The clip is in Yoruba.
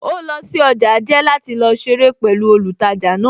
Ó lọ sí ọjà jẹ́ láti lọ ṣeré pẹ̀lú olùtajà náà